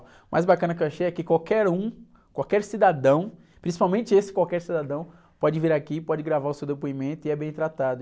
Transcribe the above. O mais bacana que eu achei é que qualquer um, qualquer cidadão, principalmente esse qualquer cidadão, pode vir aqui, pode gravar o seu depoimento e é bem tratado.